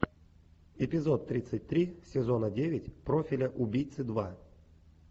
эпизод тридцать три сезона девять профиля убийцы два